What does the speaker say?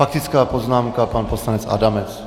Faktická poznámka pan poslanec Adamec.